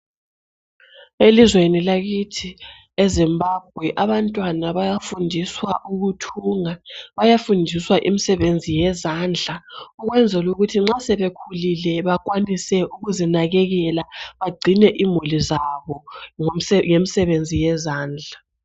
Elizweni lakithi eZimbabwe abantwana bayafundiswa ukuthunga . Bayafundiswa imsebenzi yezandla ukwenzelu kuthi nxa sebekhulile bakwanise ukuzinakekela bagcine imuli zabo ngemsebenzi yezandla .